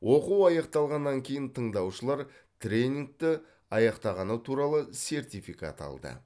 оқу аяқталғаннан кейін тыңдаушылар тренингті аяқтағаны туралы сертификат алды